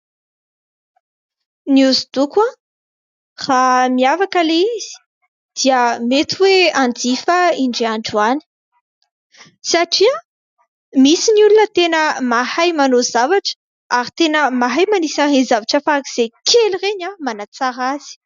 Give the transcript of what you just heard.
Ny hoso-doko raha miavaka ilay izy dia mety hoe hanjifa aho indray andro any, satria misy ny olona tena mahay manao zavatra ary tena mahay manisy ireny zavatra farak'izay kely ireny manatsara azy.